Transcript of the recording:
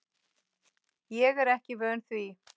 Ég er ekki vön því.